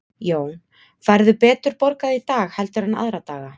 Jón: Færðu betur borgað í dag heldur en aðra daga?